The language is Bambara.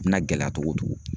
A bɛna gɛlɛya cogo o cogo.